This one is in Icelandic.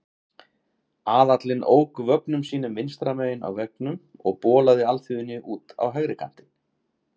Aðallinn ók vögnum sínum vinstra megin á vegunum og bolaði alþýðunni út á hægri kantinn.